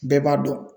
Bɛɛ b'a dɔn